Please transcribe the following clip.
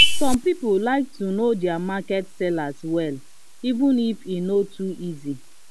some people like to know their market sellers well even if e no too easy.